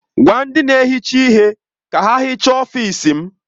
Gwa ndị na-ehicha ihe ka ha hichaa ọfịs m!